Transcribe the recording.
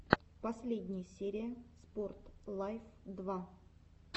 последняя серия спорт лайф два